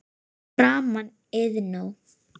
Fyrir framan Iðnó.